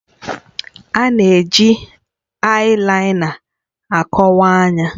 A na-eji ayilaina akọwa anya.